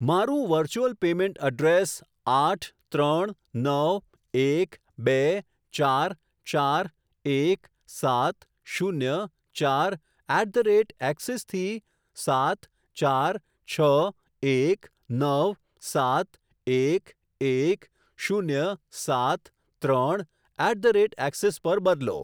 મારું virtual payment address આઠ ત્રણ નવ એક બે ચાર ચાર એક સાત શૂન્ય ચાર એટ ધ રેટ એક્સીસ થી સાત ચાર છ એક નવ સાત એક એક શૂન્ય સાત ત્રણ એટ ધ રેટ એક્સીસ પર બદલો.